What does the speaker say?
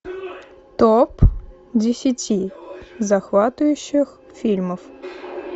топ десяти захватывающих фильмов